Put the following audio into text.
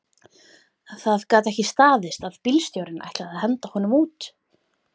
Það gat ekki staðist að bílstjórinn ætlaði að henda honum út